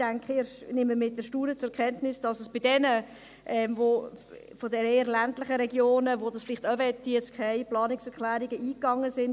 Ich nehme mit Erstaunen zur Kenntnis, dass seitens jener aus den eher ländlichen Regionen, die dies vielleicht auch möchten, jetzt keine Planungserklärungen eingegangen sind.